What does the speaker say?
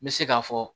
N bɛ se k'a fɔ